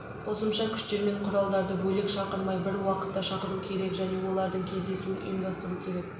қосымша күштер мен құралдарды бөлек шақырмай бір уақытта шақыру керек және олардың кездесуін ұйымдастыру керек